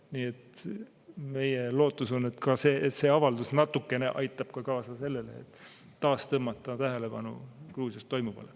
Nii et meie lootus on, et see avaldus natukene aitab kaasa sellele, et taas tõmmata tähelepanu Gruusias toimuvale.